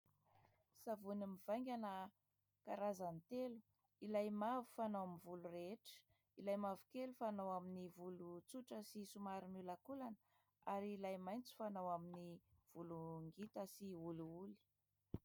Savony mivaingana karazany telo. Ilay mavo fanao amin'ny volo rehetra, ilay mavokely fanao amin'ny volo tsotra sy somary miolakolana ary ilay maitso fanao amin'ny volo ngita sy olioly.